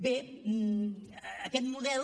bé aquest model